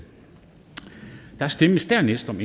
der stemmes dernæst om